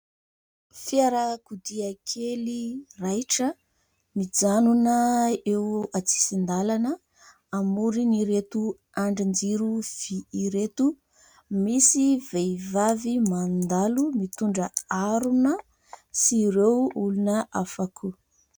Fiarakodia kely raitra, mijanona eo an-tsisin-dàlana amoron'ireto andrin-jiro vy ireto. Misy vehivavy mandalo mitondra harona sy ireo olona hafa koa.